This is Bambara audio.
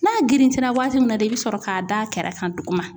N'a girinti la waati min na de, i be sɔrɔ ka da kɛrɛ kan duguma.